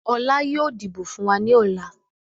Ọlá yìí ó dìbò fun wá ní ọ̀la.